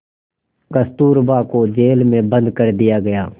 कस्तूरबा को जेल में बंद कर दिया गया